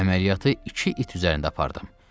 Əməliyyatı iki it üzərində apardım.